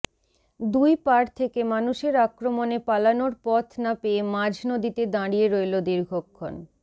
দুই পাড় থেকে মানুষের আক্রমণে পালানোর পথ না পেয়ে মাঝ নদীতে দাঁড়িয়ে রইল দীর্ঘক্ষণ